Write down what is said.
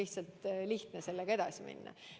Sellega on lihtne edasi minna.